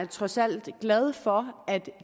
trods alt glad for at